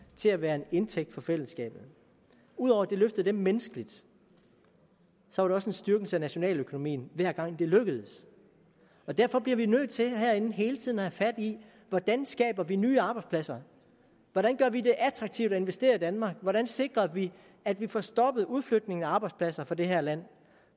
til at være en indtægt for fællesskabet ud over at det løftede dem menneskeligt var det også en styrkelse af nationaløkonomien hver gang det lykkedes og derfor bliver vi herinde nødt til hele tiden at have fat i hvordan skaber vi nye arbejdspladser hvordan gør vi det attraktivt at investere i danmark hvordan sikrer vi at vi får stoppet udflytningen af arbejdspladser fra det her land